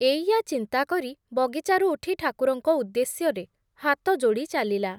ଏଇୟା ଚିନ୍ତା କରି, ବଗିଚାରୁ ଉଠି ଠାକୁରଙ୍କ ଉଦ୍ଦେଶ୍ୟରେ ହାତ ଯୋଡ଼ି ଚାଲିଲା।